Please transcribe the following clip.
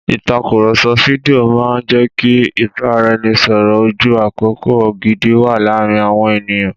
Ìtàkùrọ̀sọ fídíò máa ń jẹ́ kí ìbáraẹnisọ̀rọ̀ ojú àkókò gidi wà láàárín àwọn ènìyàn.